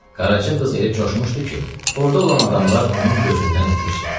Qaraca qız elə coşmuşdu ki, orada olan adamlar onun gözündən itmişdi.